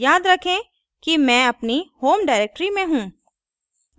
याद रखें कि मैं अपनी home directory में हूँ